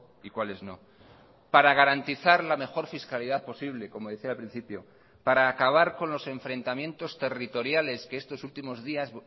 y cuáles no para garantizar la mejor fiscalidad posible como decía al principio para acabar con los enfrentamientos territoriales que estos últimos días